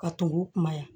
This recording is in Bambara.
Ka tugu u kuma yan